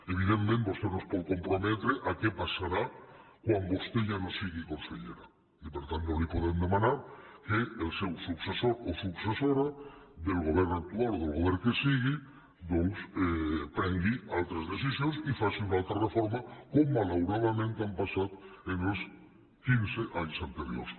evidentment vostè no es pot comprometre a què passarà quan vostè ja no sigui consellera i per tant no li podem demanar que el seu successor o successora del govern actual o del govern que sigui doncs prengui altres decisions i faci una altra reforma com malauradament ha passat els quinze anys anteriors